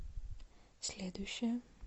следующая